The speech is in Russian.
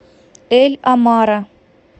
эль амара